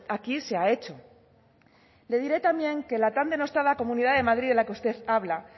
aquí se ha hecho le diré también que la tan denostada comunidad de madrid de la que usted habla